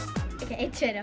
einn tveir